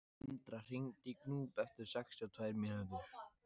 Indra, hringdu í Gnúp eftir sextíu og tvær mínútur.